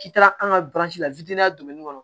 K'i taara an ka la kɔnɔ